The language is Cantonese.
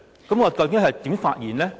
究竟我應該如何發言呢？